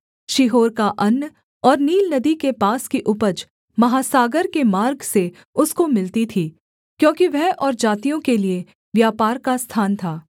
शीहोर का अन्न और नील नदी के पास की उपज महासागर के मार्ग से उसको मिलती थी क्योंकि वह और जातियों के लिये व्यापार का स्थान था